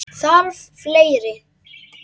Þarf fleiri?